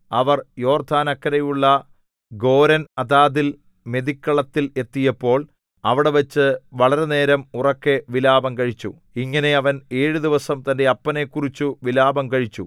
അവർ യോർദ്ദാനക്കരെയുള്ള ഗോരെൻആതാദിൽ മെതിക്കളത്തിൽ എത്തിയപ്പോൾ അവിടെവച്ച് വളരെ നേരം ഉറക്കെ വിലാപം കഴിച്ചു ഇങ്ങനെ അവൻ ഏഴു ദിവസം തന്റെ അപ്പനെക്കുറിച്ചു വിലാപം കഴിച്ചു